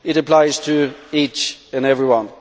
It applies to each and every one.